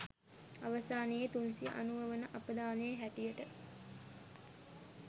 අවසානයේ 390 වන අපදානය හැටියට